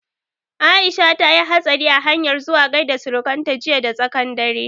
Aisha ta yi hastari a hanyan zuwa gaida surukan ta jiya da tsaƙan dare